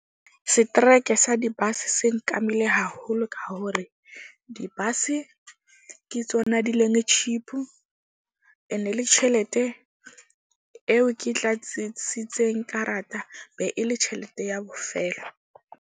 Streke sa di-bus se nkamile haholo ka hore di-bus-e ke tsona di leng cheap. Ene le tjhelete eo ke tla tsitsitseng karata be e le tjhelete ya bofelo.